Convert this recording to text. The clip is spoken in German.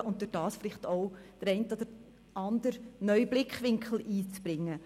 Dadurch konnte sie vielleicht auch den einen oder anderen neuen Blickwinkel einbringen.